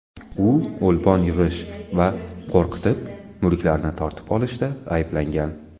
U o‘lpon yig‘ish va qo‘rqitib, mulklarni tortib olishda ayblangan.